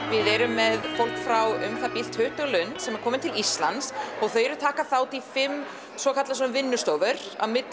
við erum með fólk frá um það bil tuttugu löndum sem eru komin til Íslands og þau eru að taka þátt í fimm svokölluðum vinnustofum